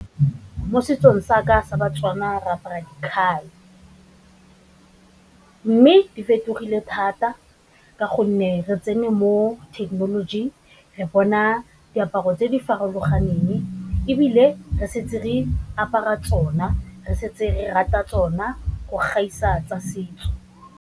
Mo setsong sa ka sa ba-Tswana re apara dikhai, mme di fetogile thata ka gonne re tsene mo thekenolojing re bona diaparo tse di farologaneng, ebile re santse re apara tsona re setse re rata tsona go gaisa tsa setso.